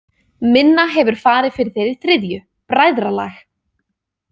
Minna hefur farið fyrir þeirri þriðju: Bræðralag.